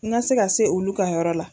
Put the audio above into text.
N ka se ka se olu ka yɔrɔ la.